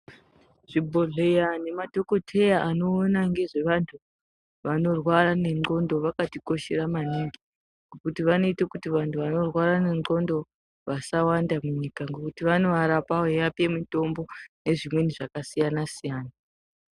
Zvibhedhlera nemadhokodheya vanoona ngezvevantu vanorwara ngendxondo vakatikoshera maningi ngekuti vanoite kuti vanhu vanorwara ngendxondo vasawanda munyika ngekuti vanovarapa nekuvapa mitombo yakasiyana siyana.